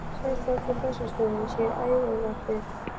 Starfsfólk á Bessastöðum sér um æðarvarpið.